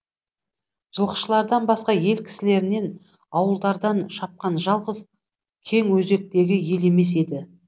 жылқышылардан басқа ел кісілерінен ауылдардан шапқан жалғыз кеңөзектегі ел емес еді